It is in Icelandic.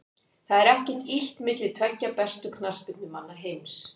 Það er ekkert illt milli tveggja bestu knattspyrnumanna heims.